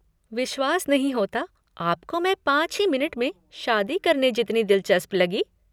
विश्वास नहीं होता आपको मैं पाँच ही मिनट में शादी करने जितनी दिलचस्प लगी।